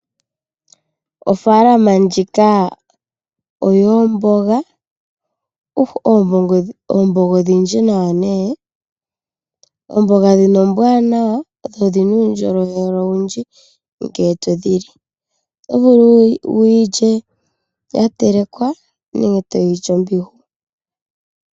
Ofaalama ndjika oyoomboga , ndhoka dhili mo odhindji dho oombwanawa. Ombonga oyina uundjolowele owundji ngele to dhili otovulu wiilye yatekelwa nenge to yili ombihu.